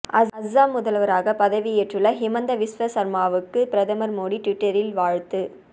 அசாம் முதல்வராக பதவி ஏற்றுள்ள ஹிமந்த விஸ்வ சா்மாவுக்கு பிரதமர் மோடி ட்வீட்டரில் வாழ்த்து